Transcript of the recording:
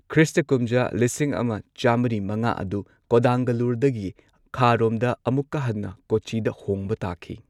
Christ ꯀꯨꯝꯖꯥ ꯂꯤꯁꯤꯡ ꯑꯃ ꯆꯝꯃ꯭ꯔꯤ ꯃꯉꯥ ꯑꯗꯨ ꯀꯣꯗꯥꯡꯒꯜꯂꯨꯔꯗꯒꯤ ꯈꯥꯔꯣꯝꯗ ꯑꯃꯨꯛꯀ ꯍꯟꯅ ꯀꯣꯆꯤꯗ ꯍꯣꯡꯕ ꯇꯥꯈꯤ꯫